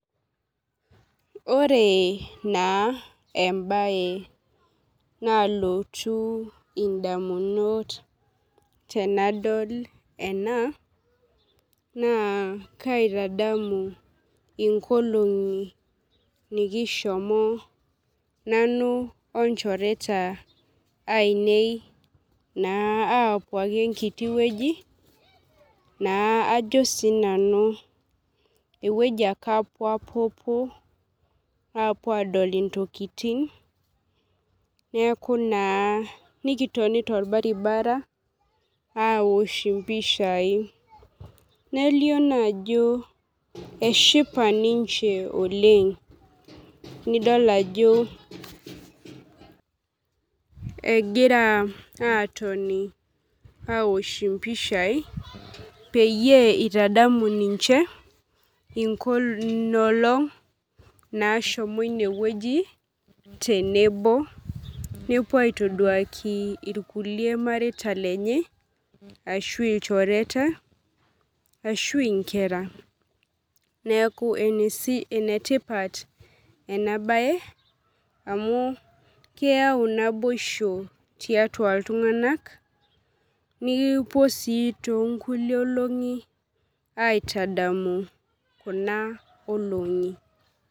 Ore na embae nalotu ndamunot tanadol ena na kaitadamu nkolongi nikishomo nanu onchoreta ainei apuo enkiti wueji na ajo na sinanu ewoi ake apuopuo apuo adol ntokitin nikitoni torbaribarani apuo aosh mpishai nelio na ajo eshipa ninche oleng nidol ajo egira atoni aosh mpishai peyie itadolu ninche nkolongi nashomo inewueji tenebo nepuo aitoduaki irkulie mareita lenye ashu nkera neaku enetipat enabae amu keyau naboisho tiatua ltunganak nikipuo na tonkulie olongi aitadamu kuna olongi